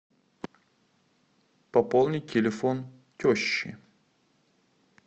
пополнить телефон тещи